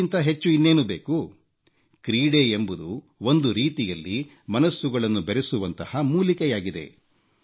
ಇದಕ್ಕಿಂತಾ ಹೆಚ್ಚು ಇನ್ನೇನು ಬೇಕು ಕ್ರೀಡೆ ಎಂಬುದು ಒಂದು ರೀತಿಯಲ್ಲಿ ಮನಸ್ಸುಗಳನ್ನು ಬೆರೆಸುವಂಥ ಮೂಲಿಕೆಯಾಗಿದೆ